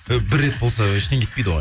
і бір рет болса ештеңе етпейді ғой